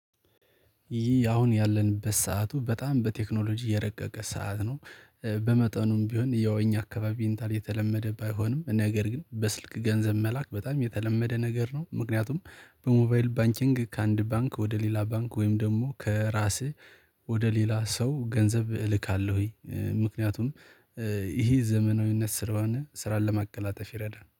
ይህ አሁን ያለንበት ሰዓቱ በጣም በቴክኖሎጂ የረቀቀ ሰዓት ነው። በመጠኑም ቢሆን ያው እኛ አካባቢ ኢንተርኔት የተለመደ ባይሆንም ነገር ግን በስልክ ገንዘብ መላክ በጣም የተለመደ ነገር ነው። ምክንያቱም በሞባይል ባንቺንግ ከአንድ ባንክ ወደ ሌላ ባንክ ወይም ደግሞ ከራስህ ወደ ሌላ ሰው ገንዘብ እልካለሁኝ ምክንያቱም ይሄ ዘመናዊነት ስለ ሆነ ስራን ለማቀላጠፍ ይረዳን